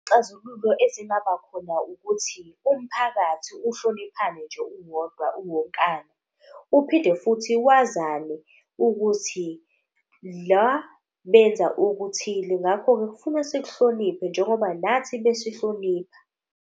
Ezingaba khona ukuthi umphakathi uhloniphane nje uwodwa, uwonkana. Uphinde futhi wazane ukuthi la benza okuthile ngakho-ke kufuna sikuhloniphe njengoba nathi besihlonipha.